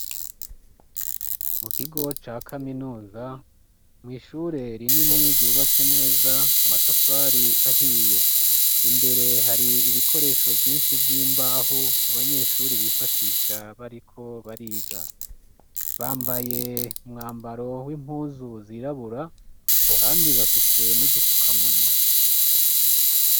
Mu kigo ca kaminuza, mw'ishure rinini ryubatse neza, amatafari ahiye. Imbere hari ibikoresho vyinshi vy'imbaho, abanyeshure bifashisha bariko bariga. Bambaye umwambaro w'impuzu zirabura kandi bafise n'udufukamunwa.